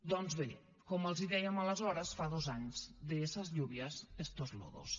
doncs bé com els dèiem aleshores fa dos anys de esas lluvias estos lodos